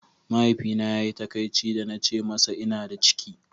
Mahaifina ya yi takaici da na ce masa ina da ciki.